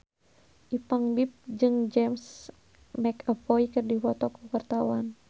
Ipank BIP jeung James McAvoy keur dipoto ku wartawan